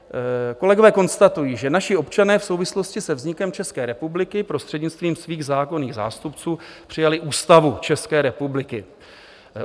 Kolegové konstatují, že "naši občané v souvislosti se vznikem České republiky prostřednictvím svých zákonných zástupců přijali Ústavu České republiky.